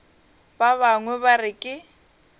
ba bangwe ba re ke